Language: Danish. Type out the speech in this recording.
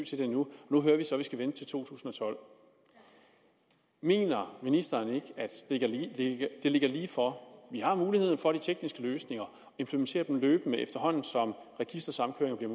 til det endnu og nu hører vi så at vi skal vente til to tusind og tolv mener ministeren ikke at det ligger lige for vi har mulighederne for de tekniske løsninger implementere dem løbende efterhånden som registersamkøringer bliver